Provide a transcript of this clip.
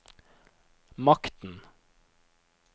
makten